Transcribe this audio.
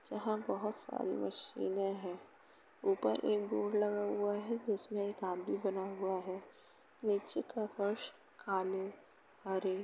जहां बोहोत सारी मशीने हैं। ऊपर एक बोर्ड लगा हुआ है जिसमें एक आदमी बना हुआ है। नीचे का फर्श काले हरे --